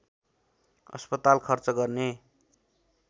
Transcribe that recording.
अस्पताल खर्च गर्ने